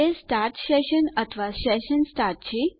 તે start session અથવા session start છે